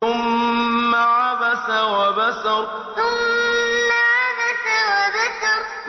ثُمَّ عَبَسَ وَبَسَرَ ثُمَّ عَبَسَ وَبَسَرَ